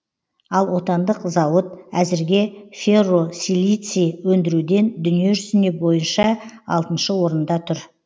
ал отандық зауыт әзірге ферросилиций өндіруден дүние жүзі бойынша алтыншы орында тұр